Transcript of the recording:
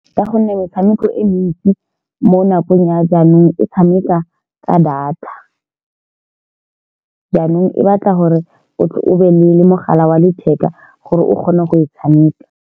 Ka gonne metshameko e mentsi mo nakong ya jaanong. E tshameka ka data jaanong e batla gore o tle o be le mogala wa letheka gore o kgone go e tshameka.